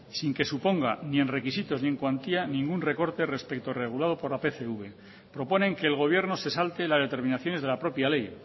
sin que suponga ni en requisitos ni en cuantía ningún recorte respecto al regulado por la pcv proponen que el gobierno se salte las determinaciones de la propia ley